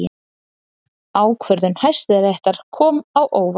Ákvörðun Hæstaréttar kom á óvart